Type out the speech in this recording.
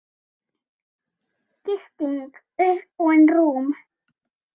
Gisting: Uppbúin rúm